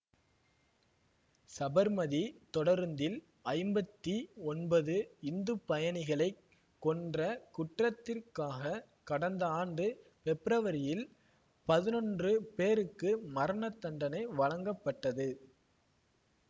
சபர்மதி தொடருந்தில் ஐம்பத்தி ஒன்பது இந்து பயணிகளை கொன்ற குற்றத்திற்காக கடந்த ஆண்டு பெப்ரவரியில் பதினொன்று பேருக்கு மரணதண்டனை வழங்கப்பட்டது